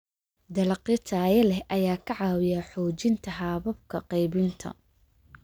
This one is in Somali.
Dalagyo tayo leh ayaa ka caawiya xoojinta hababka qaybinta.